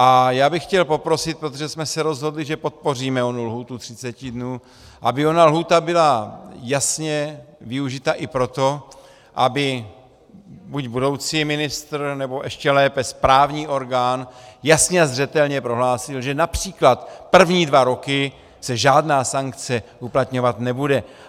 A já bych chtěl poprosit, protože jsme se rozhodli, že podpoříme onu lhůtu 30 dnů, aby ona lhůta byla jasně využita i pro to, aby buď budoucí ministr, nebo ještě lépe správní orgán jasně a zřetelně prohlásil, že například první dva roky se žádná sankce uplatňovat nebude.